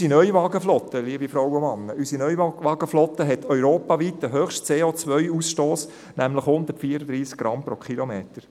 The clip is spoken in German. Unsere Neuwagenflotte, liebe Frauen und Männer, hat europaweit den höchsten CO-Ausstoss, nämlich 134 Gramm pro Kilometer.